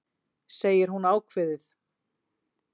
segir hún ákveðið.